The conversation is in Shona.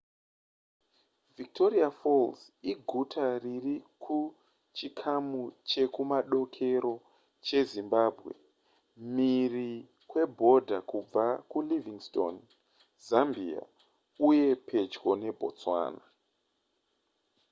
victoria falls iguta riri kuchikamu chekumadokero chezimbabwe mhiri kwebhodha kubva kulivingstone zambia uye pedyo nebotswana